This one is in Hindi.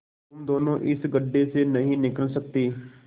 तुम दोनों इस गढ्ढे से नहीं निकल सकते